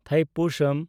ᱛᱷᱟᱭᱯᱩᱥᱟᱢ